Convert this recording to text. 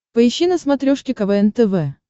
поищи на смотрешке квн тв